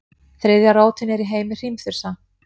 Þriðja rótin er í heimi hrímþursa.